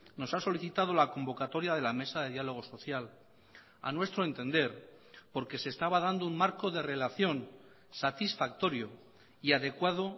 nos ha solicitado la convocatoria de la mesa de diálogo social a nuestro entender porque se estaba dando un marco de relación satisfactorio y adecuado